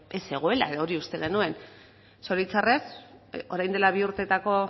ez zegoela edo hori uste genuen zoritzarrez orain dela bi urteetako